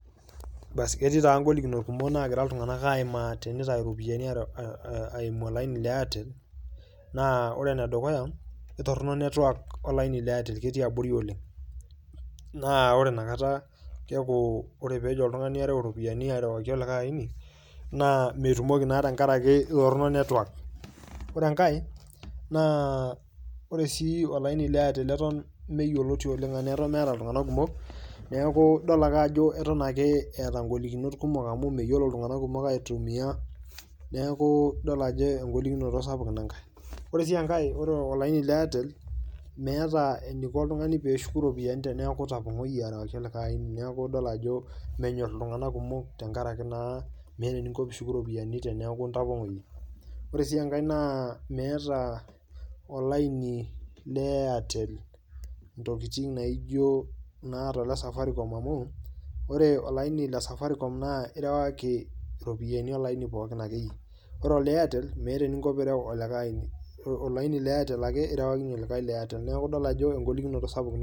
Basi ketii naa ng'olikinot kumok naagira iltung'anak aimaa tenitayu iropiani aa eimu olaini le Airtel. Naa ore ene dukuya ketorono network olaini le Airtel ketii abori oleng' naa ore inakata keeku ore peejo oltung'ani ereu iropiani arewaki olikai aini naa metumoki naa tenkaraki aa torono network. Kore enkae naa ore oshi olaini le Airtel eton meyoloti oleng' anaye eton meeta iltung'anak kumok neeku idol ake ajo eton eeta ng'olikinoto kumok amu meyolo itung'anak kumok aitumia neeku idol ajo eng'olikinoto naa sapuk ina nkae. Ore sii enkae ore olaini le Airtel, meeta eniko oltung'ani pee eshuku iropiani teneeku itapong'oyie arewaki olikai aini, neeku idol ajo menyor iltung'anak kumok amu meeta eninko piishuku iropiani teneeku intapong'oyie. Ore sii enkae naa meeta olaini le Airtel ntokitin naijo naata ole safaricom amu ore olaini le safariocm naa irewaki iropiani olaini pokin ake yie ore ole Airtel naa meeta eninko piireu olikai aini, olainil le Airtel ake irewakinye olikai le Airtel. Neeku idol ajo eng'olikinoto sapuk oleng'.